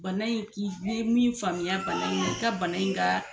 Bana in k'i bɛ min faamuya bana in ye i ka bana in ka